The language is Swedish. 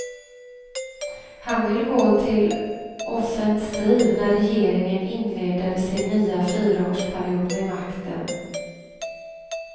Han vill gå till offensiv när regeringen inleder sin nya fyraårsperiod vid makten.